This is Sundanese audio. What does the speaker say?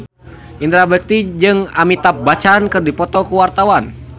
Indra Bekti jeung Amitabh Bachchan keur dipoto ku wartawan